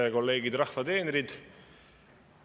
Head kolleegid, rahva teenrid!